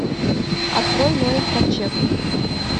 открой ноев ковчег